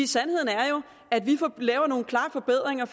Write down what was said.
sandheden er jo at vi laver nogle klare forbedringer